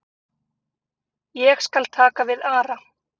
Ég skal taka við Ara.